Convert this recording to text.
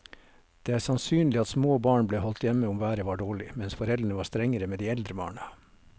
Det er sannsynlig at små barn ble holdt hjemme om været var dårlig, mens foreldrene var strengere med de eldre barna.